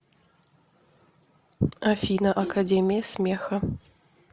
афина академия смеха